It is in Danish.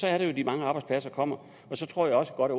er det jo at de mange arbejdspladser kommer og så tror jeg også godt